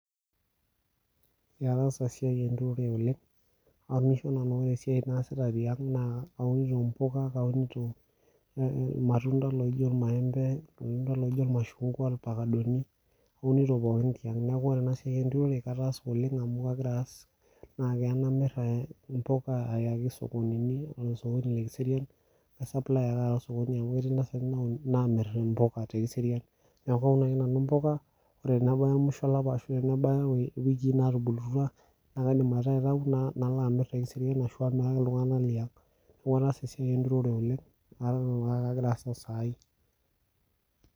Ataasa esiai enturure oleng ore tiang keunito mbuka irmatunda pookin tiang neeku ore ena siai enturore ataasa oleng naa keya naamiri embuka Aya sokonini Aya osokoni lee kiserian kaisupply ake amu ketii ntasati namiri mbuka tee kiserian naa Kaun oshi nanu mbuka ore tenebaya musho olapa ashu wiki natubulutua naa kaidim aitayu nalo amir te kiserian ashu amiraki iltung'ana Liang neeku ataasa esiai enturure neton ake agira aas osai